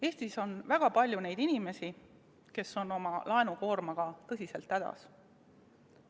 Eestis on väga palju neid inimesi, kes on oma laenukoormaga tõsiselt hädas.